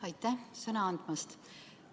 Aitäh sõna andmast!